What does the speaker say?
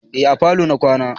Eh a falo na kwana